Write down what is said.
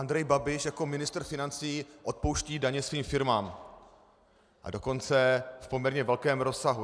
Andrej Babiš jako ministr financí odpouští daně svým firmám, a dokonce v poměrně velkém rozsahu.